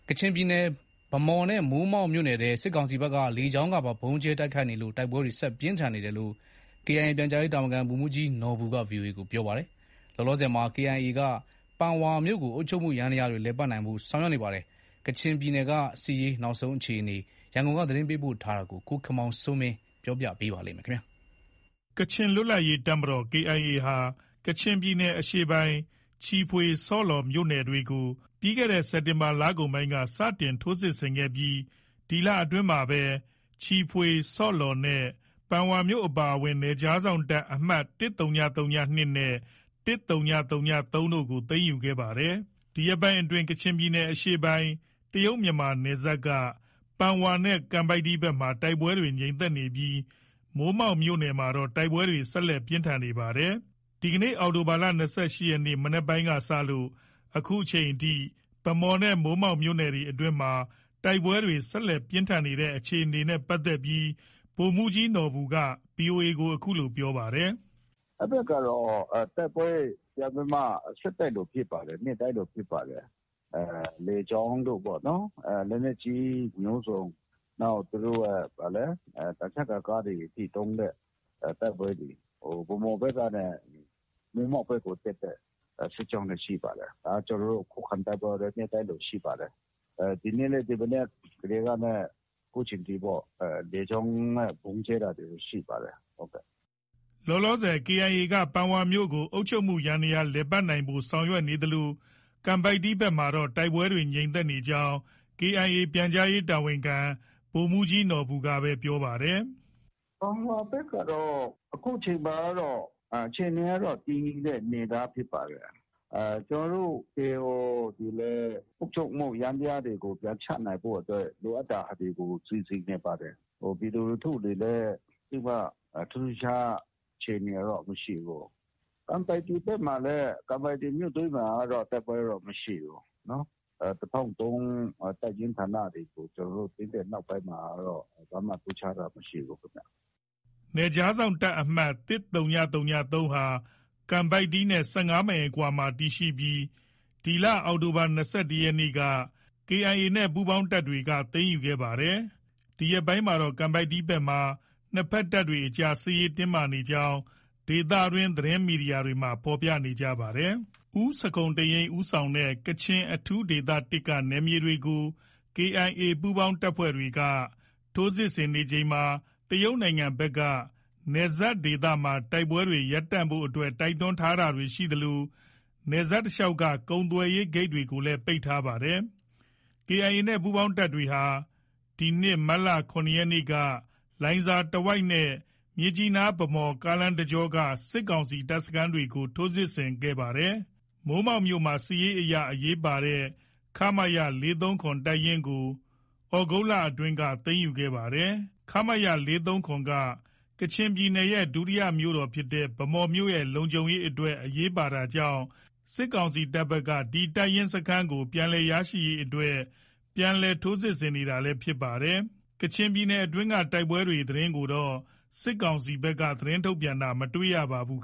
ကချင်ပြည်နယ် ဗန်းမော်နဲ့ မိုးမောက်မြို့နယ်ထဲ စစ်ကောင်စီဘက်က လေကြောင်းကနေပါ ဗုံးကြဲတိုက်ခိုက်နေလို့ တိုက်ပွဲတွေ ဆက်ပြင်းထန်နေတယ်လို့ KIA ပြန်ကြားရေးတာဝန်ခံ ဗိုလ်မှုးကြီးနော်ဘူက ဗွီအိုအေကိုပြောပါတယ်။ လောလောဆည်မှာKIA က ပန်ဝါမြို့ကို အုပ်ချုပ်မှုယန္တရားတွေ လည်ပတ်နိုင်ဖို့ ဆောင်ရွက်နေပါတယ်။ ကချင်ပြည်နယ်ဘက်က စစ်ရေးနောက်ဆုံးအခြေအနေ ရန်ကုန်က သတင်းပေးပို့ထားပါတယ်။ ကချင်လွတ်လပ်ရေးတပ်မတော် KIA ဟာ ကချင်ပြည်နယ်အရှေ့ပိုင်း ချီဖွေ၊ ဆော့လော်မြို့နယ်တွေကို စက်တင်ဘာလကုန်ပိုင်းက စတင်ထိုးစစ်ဆင်ခဲ့ပြီး ဒီလအတွင်းမှာပဲ ချီဖွေ၊ဆော့လော်နဲ့ ပန်ဝါမြို့အပါအဝင် နယ်ခြားစောင့်တပ် အမှတ် ၁၀၀၂နဲ့ ၁၀၀၃ တို့ကို သိမ်းယူခဲ့တာပါ။ ဒီရက်ပိုင်းတွေအတွင်း ကချင်ပြည်နယ်အရှေ့ပိုင်း တရုတ်မြန်မာနယ်စပ်က ပန်ဝါနဲ့ ကန်ပိုက်တီဘက်မှာ တိုက်ပွဲတွေ ငြိမ်သက်နေပြီး မိုးမောက်မြို့နယ်မှာတော့ တိုက်ပွဲတွေ ဆက်လက် ပြင်းထန်နေပါတယ်။ ဒီကနေ့ အောက်တိုဘာလ ၂၈ရက်နေ့ မနက်ပိုင်းကနေ စလို့ အခုချိန်အထိ ဗန်းမော်နဲ့ မိုးမောက်မြို့နယ်အတွင်းမှာ တိုက်ပွဲတွေ ဆက်လက်ပြင်းထန်နေတဲ့အခြေအနေ ဗိုလ်မှုးကြီးနော်ဘူက ဗွီအိုအေကို အခုလိုပြောပြပါတယ်။ “ အဲဒီဘက်ကတော့ တိုက်ပွဲ ပြန်ပြီးမှ ဆက်တိုက်လိုဖြစ်ပါတယ်။ နေ့တိုင်းလိုဖြစ်ပါတယ်။ လေကြောင်းတို့ ပေါ့နော်။ လက်နက်ကြီးမျိုးစုံ။ နောက် သူတို့ရဲ့ သံချပ်ကာ ကားတွေအထိ သုံးတဲ့ တိုက်ပွဲတွေ။ ဗန်းမော်ဘက်ကနဲ့ မိုးမောက်ဘက်ကို တက်တဲ့ စစ်ကြောင်းတွေ ရှိပါတယ်။ ကျနော်တို့ ခုခံတိုက်ပွဲကတော့ နေ့တိုင်းလို ရှိပါတယ်။ ဒီနေ့လည်း ဒီမနက်ကတည်းကနဲ့ အခုချိန်ထိပေါ့ လေကြောင်းနဲ့ ဗုံးကြဲတာတွေ ရှိပါတယ်။ ” လောလောဆယ် KIA က ပန်ဝါမြို့ကို အုပ်ချုပ်မှုယန္တရားတွေ လည်ပတ်နိုင်ဖို့ ဆောင်ရွက်နေသလို ကန်ပိုက်တီဘက်မှာတော့ တိုက်ပွဲတွေ ငြိမ်နေကြောင်း KIA ပြန်ကြားရေးတာဝန်ခံ ဗိုလ်မှုးကြီးနော်ဘူက ပြောပါတယ်။ “ ပန်ဝါဘက်မှာတော့ အခုအချိန်ကတော့ တည်ငြိမ်တဲ့အနေအထားဖြစ်ပါတယ်။ ကျနော်တို့ KIO တွေလည်း အုပ်ချုပ်မှုယန္တရားတွေကို ပြန်ချနိုင်ဖို့အတွက် လိုအပ်တာတွေကို စီစဉ်နေပါတယ်။ ပြည်သူလူထုတွေလည်း သိပ်ပြီးမှ ထူးထူးခြားခြား အခြေအနေကတော့ မရှိဘူး။ ကန်ပိုက်တီဘက်ကမှာလည်း ကန်ပိုက်တီမြို့တွင်း မှာတော့ တိုက်ပွဲတော့ မရှိဘူး။ ၁၀၀၃ တပ်ရင်းဌာနတွေကို ကျနော်တို့ သိမ်းတဲ့နောက်ပိုင်းမှာကတော့ ဘာမှ ထူးခြားတာမရှိဘူးခင်ဗျ။” နယ်ခြားစောင့်တပ်အမှတ် ၁၀၀၃ဟာ ကန်ပိုက်တီနဲ့ ၁၅မိုင်ခန့်အကွာမှာတည်ရှိပြီး ဒီလ အောက်တိုဘာလ ၂၁ရက်နေ့မှာ KIA ပူးပေါင်းတပ်တွေက သိမ်းယူခဲ့တာပါ။ ဒီရက်ပိုင်းမှာတော့ ကန်ပိုက်တီဘက်မှာ နှစ်ဘက်တပ်တွေအကြား စစ်ရေးတင်းမာနေကြောင်း ဒေသတွင်း သတင်းမီဒီယာတွေမှာ ဖော်ပြပါတယ်။ ဦးဇခုန်တိန့်ယိန်းဦးဆောင်တဲ့ ကချင်အထူးဒေသ၁က နယ်မြေတွေကို KIA ပူးပေါင်းတပ်တွေက ထိုးစစ်ဆင်ချိန်မှာ တရုတ်နိုင်ငံဘက်က နယ်စပ်ဒေသမှာ တိုက်ပွဲတွေ ရပ်တန့်ဖို့အတွက် တိုက်တွန်းတာတွေရှိခဲ့သလို နယ်စပ်ဒေသတလျောက်က ကုန်သွယ်ရေးဂိတ်တွေကိုလည်း ပိတ်ထားပါတယ်။ KIA နဲ့ ပူးပေါင်းတပ်တွေဟာ ဒီနှစ် မတ်လ ၇ရက်နေ့က လိုင်ဇာဒေသတဝိုက်နဲ့ မြစ်ကြီးနား- ဗန်းမော်လမ်းတကြောက စစ်ကောင်စီတပ်စခန်းတွေကို ထိုးစစ်ဆင်ခဲ့တာပါ။ မိုးမောက်မြို့နယ်က စစ်ရေးအရာ အရေးပါတဲ့ ခမရ ၄၃၇ တပ်ရင်းကိုသြဂုတ်လအတွင်းမှာ သိမ်းယူခဲ့ပါတယ်။ ခမရ ၄၃၇က ကချင်ပြည်နယ်ရဲ့ ဒုတိယမြို့တော်ဖြစ်တဲ့ ဗန်းမော်မြို့ရဲ့ လုံခြုံရေးအတွက် အရေးပါတာကြောင့် စစ်ကောင်စီတပ်ဘက်က ဒီတပ်ရင်းစခန်းကို ပြန်လည်ရရှိရေးအတွက် ပြန်လည် ထိုးစစ်ဆင်နေတာလည်း ဖြစ်ပါတယ်။ ကချင်ပြည်နယ်အတွင်းက တိုက်ပွဲသတင်းတွေကိုတော့ စစ်ကောင်စီဘက်က ထုတ်ပြန်တာ မတွေ့ရပါဘူး။